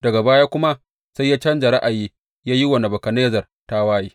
Daga baya kuma sai ya canja ra’ayi ya yi wa Nebukadnezzar tawaye.